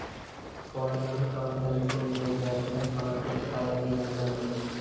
കോളേജിന്റെ പ്രവര്‍ത്തനത്തിനെതിരെ വിദ്യാര്‍ത്ഥികള്‍ സമര്‍പ്പിച്ച പരാതിയിലാണ് നടപടി